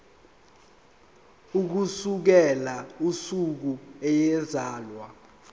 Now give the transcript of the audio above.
ukusukela usuku eyazalwa